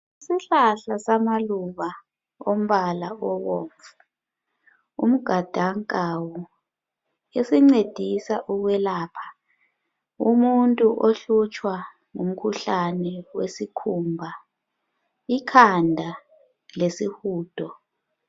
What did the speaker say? Isihlahla samaluba ombala obomvu. Umgadankawu, esincedisa ukwelapha umuntu ohlutshwa ngumkhuhlane wesikhumba, ikhanda lesihudo